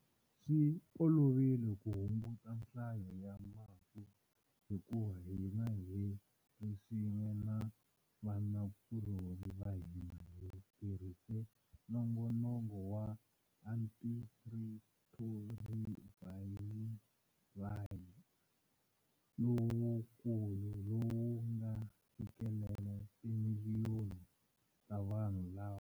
Swi olovile ku hunguta nhlayo ya mafu hikuva hina hi ri swin'we na vanakulorhi va hina hi tirhise nongonoko wa antirhithorivhayirali lowukulu lowu nga fikelela timiliyoni ta vanhu lava.